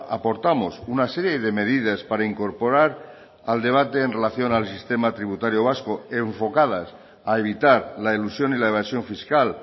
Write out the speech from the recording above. aportamos una serie de medidas para incorporar al debate en relación al sistema tributario vasco enfocadas a evitar la elusión y la evasión fiscal